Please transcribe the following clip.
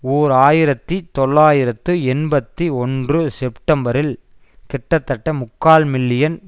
ஓர் ஆயிரத்தி தொள்ளாயிரத்து எண்பத்தி ஒன்று செப்டம்பரில் கிட்டத்தட்ட முக்கால் மில்லியன்